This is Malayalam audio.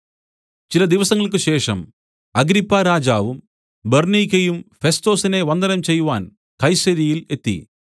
ചില ദിവസങ്ങൾക്കുശേഷം അഗ്രിപ്പാരാജാവും ബെർന്നീക്കയും ഫെസ്തൊസിനെ വന്ദനം ചെയ്‌വാൻ കൈസര്യയിൽ എത്തി